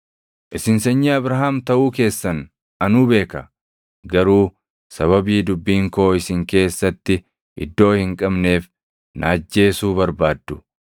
Isin sanyii Abrahaam taʼuu keessan anuu beeka. Garuu sababii dubbiin koo isin keessatti iddoo hin qabneef na ajjeesuu barbaaddu.